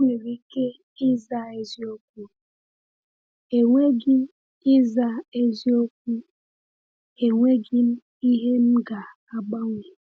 M nwere ike ịza eziokwu, “Enweghị ịza eziokwu, “Enweghị m ihe m ga-agbanwe!”